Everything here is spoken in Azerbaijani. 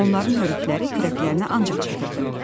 Onların hörükələri kürəklərinə ancaq çatırdı.